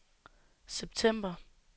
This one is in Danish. september